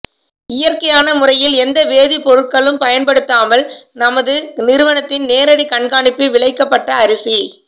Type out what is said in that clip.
இயற்கையான முறையில் எந்த வேதிப் பொருட்களும் பயன்படுத்தாமல் நமது நிறுவனத்தின் நேரடி கண்காணிப்பில் விளைக்கப்பட்ட அரிசி